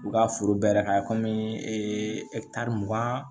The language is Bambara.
U ka foro bɛɛ yɛrɛ ka kɔmi mugan